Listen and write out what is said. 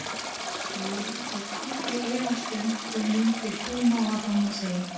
Ég hef aldrei efast um þú mundir koma var hann að segja.